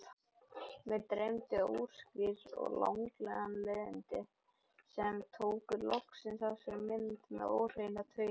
Mig dreymdi óskýr og langdregin leiðindi sem tóku loksins á sig mynd í óhreina tauinu.